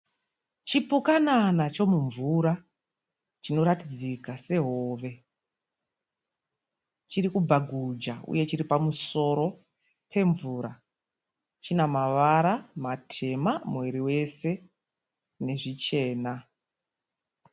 Chipukanana chemumvura chinoratidzika sehove. Chiri kubhaguja uye chiri pamusoro pemvura. Chine mavara matema muviri wese nezvichena.